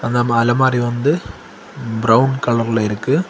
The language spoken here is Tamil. நம்ம அலமாரி வந்து பிரவுன் கலர்ல இருக்கு.